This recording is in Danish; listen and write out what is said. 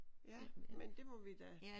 Ja men det må vi da